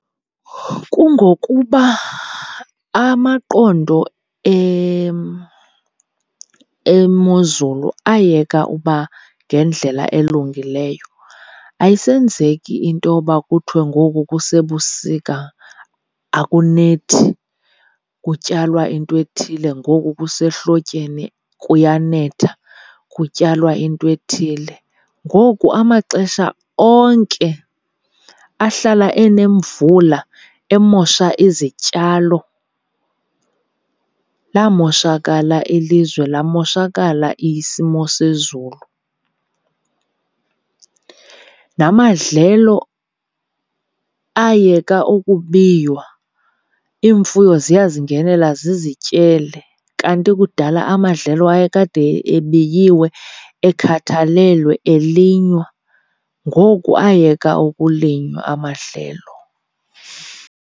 Kungokuba amaqondo emozulu ayeka uba ngendlela elungileyo. Ayisenzeki intoba kuthwe ngoku kusebusika akunethi kutyalwa intwethile, ngoku kusehlotyeni kuyanetha kutyalwa intwethile. Ngoku amaxesha onke ahlala enemvula emosha izityalo, lamoshakala ilizwe lamoshakala isimo sezulu. Namadlelo ayeka ukubiywa, iimfuyo ziyazingenela zizityele kanti kudala amadlelo ayekade ebiyiwe, ekhathalelwe, elinywa. Ngoku ayeka ukulinywa amadlelo.